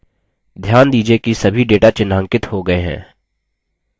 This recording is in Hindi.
ध्यान दीजिये कि सभी data चिह्नांकित हो गये हैं